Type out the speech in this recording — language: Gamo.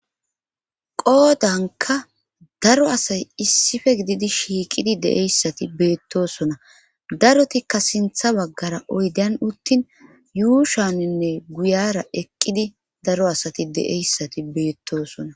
qoodanka daro asay issife gididi shiiqidi de'eyssati beettosona darotikka sintha baggara oydan uttin yuushaninne guyara eqqidi daro asati de'eyssati beettosona